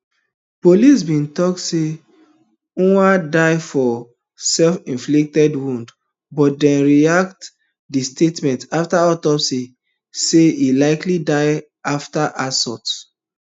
police bin tok say ojwang die of selfinflicted wounds but dem retract di statement afta autopsy find say e likely die afta assault